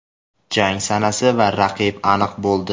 Jang sanasi va raqib aniq bo‘ldi.